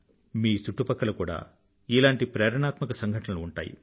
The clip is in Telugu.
మీ చుట్టుపక్కల కూడా ఇలాంటి ప్రేరణాత్మక సంఘటనలు ఉంటాయి